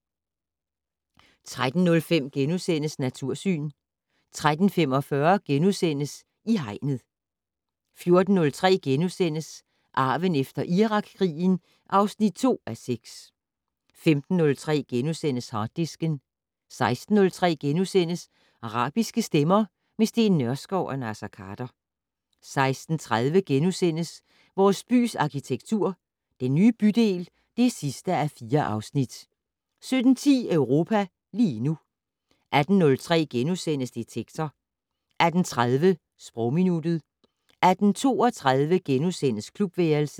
13:03: Natursyn * 13:45: I Hegnet * 14:03: Arven efter Irakkrigen (2:6)* 15:03: Harddisken * 16:03: Arabiske stemmer - med Steen Nørskov og Naser Khader * 16:30: Vores bys arkitektur - Den nye bydel (4:4)* 17:10: Europa lige nu 18:03: Detektor * 18:30: Sprogminuttet 18:32: Klubværelset *